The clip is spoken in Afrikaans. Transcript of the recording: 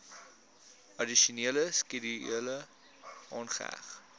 addisionele skedule aangeheg